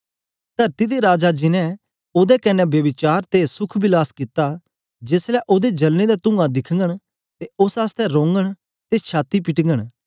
तरती दे राजा जिन्हैं ओदे कन्ने ब्यभिचार ते सुख विलास कित्ता जेस ले ओदे जलने दा तुंआ दिखगन ते उस्स आसतै रोघंन ते छाती पिटघंन